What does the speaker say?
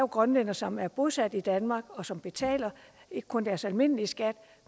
grønlændere som er bosat i danmark og som betaler ikke kun deres almindelige skat